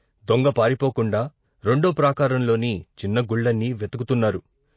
దొంగ పారిపోకుండా రెండో ప్రాకారంలోని చిన్న గుళ్ళన్నీ వెతుకుతున్నారు.